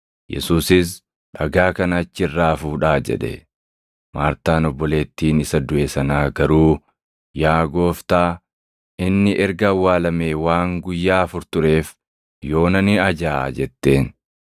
Yesuusis, “Dhagaa kana achi irraa fuudhaa!” jedhe. Maartaan obboleettiin isa duʼe sanaa garuu, “Yaa Gooftaa, inni erga awwaalamee waan guyyaa afur tureef yoona ni ajaaʼa” jetteen.